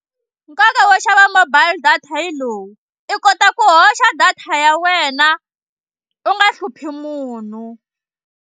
Nkoka wo xava mobile data yi lowu i kota ku hoxa data ya wena u nga hluphi munhu.